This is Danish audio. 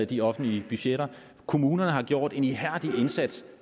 de offentlige budgetter kommunerne har gjort en ihærdig indsats